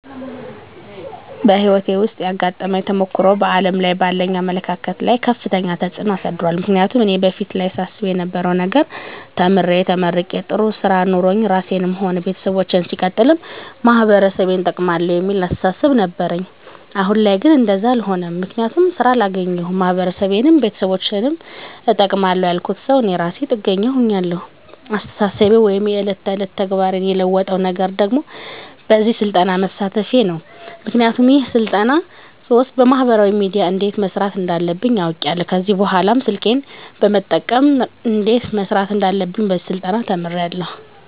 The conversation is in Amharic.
በህይወቴ ዉስጥ ያጋጠመኝ ተሞክሮ በዓለም ላይ ባለኝ አመለካከት ላይ ከፍተኛ ተጽዕኖ አሳድሯል ምክንያቱም እኔ በፊት ላይ ሳስብ የነበረዉ ነገር ተምሬ ተመርቄ ጥሩ ስራ ኖሮኝ ራሴንም ሆነ ቤተሰቦቸን ሲቀጥልም ማህበረሰቤን እጠቅማለዉ የሚል አስተሳሰብ ነበረኝ አሁን ላይ ግን እንደዛ አሎነም ምክንያቱም ስራ አላገኘዉም ማህበረሰቤንም ቤተሰቦቸንም እጠቅማለዉ ያልኩት ሰዉ እኔ እራሴ ጥገኛ ሁኛለዉ አስተሳሰቤን ወይም የዕለት ተዕለት ተግባሬን የለወጠዉ ነገር ደግሞ በዚህ ስልጠና መሳተፌ ነዉ ምክንያቱም ይሄን ስልጠና ስወስድ በማህበራዊ ሚድያ እንዴት መስራት እንዳለብኝ አዉቄያለዉ ከዚህ በኅላ ስልኬን በመጠቀም እንዴት መስራት እንዳለብኝ በዚህ ስልጠና ተምሬያለዉ